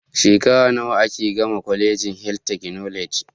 Shekara nawa ake gama colegin health technology